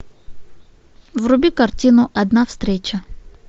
вруби картину одна встреча